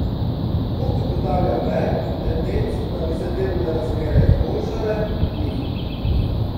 Kot ugotavlja Verk, tendenc, da bi se delovne razmere izboljšale, ni.